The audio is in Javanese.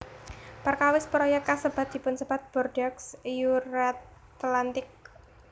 Perkawis proyék kasebat dipunsebat Bordeaux Euratlantique